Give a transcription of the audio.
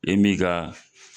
I m'i ga